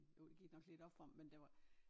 Jo det gik nok lidt op for mig men der var